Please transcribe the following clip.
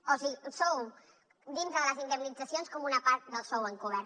o sigui sou dintre de les indemnitzacions com una part del sou encobert